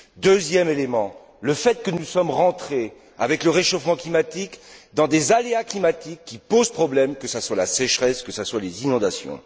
Deuxièmement, le fait que nous sommes rentrés, avec le réchauffement climatique, dans des aléas climatiques qui posent problème, que ce soit la sécheresse, que ce soient les inondations.